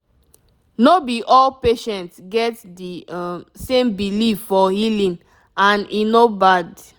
no be all patients get the um same belief for healing and e no bad